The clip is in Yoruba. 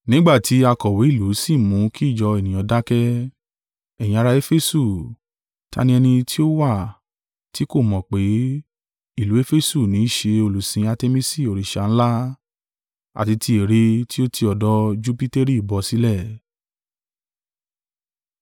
Nígbà tí akọ̀wé ìlú sì mú kí ìjọ ènìyàn dákẹ́, “Ẹ̀yin ará Efesu, ta ni ẹni tí ó wà tí kò mọ̀ pé, ìlú Efesu ní í ṣe olùsìn Artemisi òrìṣà ńlá, àti tí ère tí ó ti ọ̀dọ̀ Jupiteri bọ́ sílẹ̀?